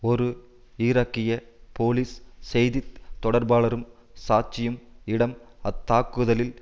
ஒரு ஈராக்கிய போலீஸ் செய்தி தொடர்பாளரும் சாட்சியும் இடம் அத்தாக்குதலில்